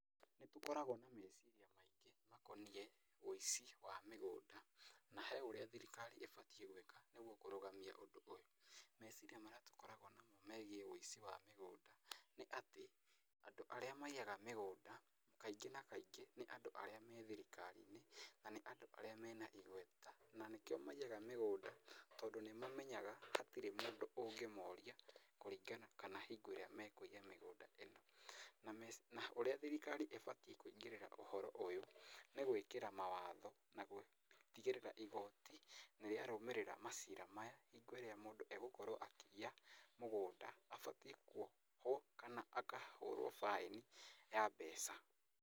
Nĩ tũkoragwo na meciria maingĩ makoniĩ wũici wa mĩgũnda na he ũrĩa thirikari ĩbatiĩ gwika nĩguo kũrũgamia ũndũ ũyũ. Meciria marĩa tũkoragwo namo megiĩ wũici wa mĩgũnda nĩ atĩ, andũ arĩa maiyaga mĩgũnda, kaingĩ na kaingĩ nĩ andũ arĩa me thirikari-in na nĩ andũ arĩa mena igweta, na nĩkĩo maiyaga mĩgũnda tondũ nĩ mamenyaga hatirĩ mũndũ ũngĩmoria, kũringana kana hingo ĩrĩa mekũiya mĩgũnda ĩyo. Na ũrĩa thirikari ĩbatiĩ kũingĩrĩra ũhoro ũyũ nĩ gwĩkĩra mawatho na gũtigĩrĩra igoti nĩ rĩa rũmĩrĩra macira maya, hingo ĩrĩa mũndũ egũkorwo akĩiya mũgũnda abatiĩ kuohwo kana akahũrwo baĩni ya mbeca